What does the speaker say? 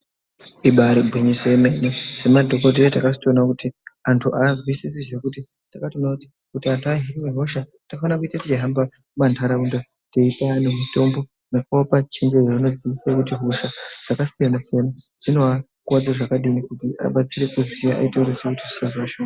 Ibaari gwinyiso yemene, semadhokodhera takatozotoona kuti antu aazwisisi zvekuti takatoona kuti anhu kuti ahinwe hosha tinofana kuite teihamba mumantaraunda teipe antu mitombo nekuapa chenjedzo inodzidzise kuti hosha dzakasiyana siyana dzino akuwadze zvakadini kuti abatsire kuziya eizoite misikazwa mishoma.